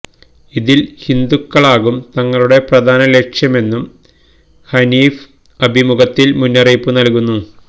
ഇന്ത്യയില് ഹിന്ദുക്കളാകും തങ്ങളുടെ പ്രധാന ലക്ഷ്യമെന്നും ഹനീഫ് അഭിമുഖത്തില് മുന്നറിയിപ്പ് നല്കുന്നു